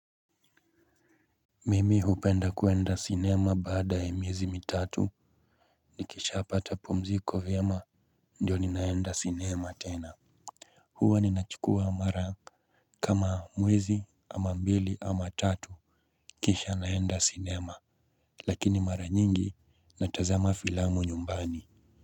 Mimi hupenda kuenda cinema baada ya miezi mitatu nikisha pata pumziko vyema ndio ninaenda cinema tena. Hua ninachukua mara kama mwezi ama mbili ama tatu kisha naenda cinema lakini mara nyingi natazama filamu nyumbani.